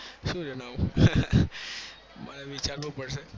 સુ જણાવું મારે વિચાર વું પડશે